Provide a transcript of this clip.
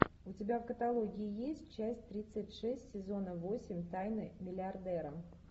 у тебя в каталоге есть часть тридцать шесть сезона восемь тайны миллиардера